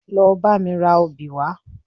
Lọ bá mi ra obì wá